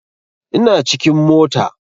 Ina cikin mota